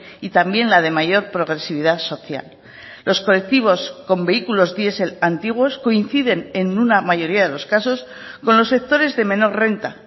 y también la de mayor progresividad social los colectivos con vehículos diesel antiguos coinciden en una mayoría de los casos con los sectores de menor renta